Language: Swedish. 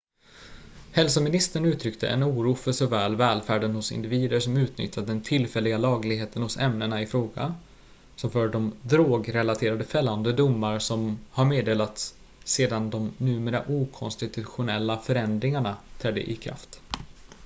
hälsoministern uttryckte en oro för såväl välfärden hos individer som utnyttjat den tillfälliga lagligheten hos ämnena i fråga som för de drog-relaterade fällande domar som har meddelats sedan de numera okonstitutionella förändringarna trädde i kraft